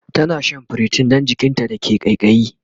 tana Shan priton Dan jikinta da ke kaikayi